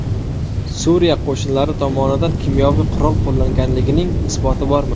Suriya qo‘shinlari tomonidan kimyoviy qurol qo‘llanganligining isboti bormi?